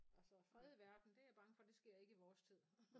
Altså fred i verden det jeg bange for det sker ikke i vores tid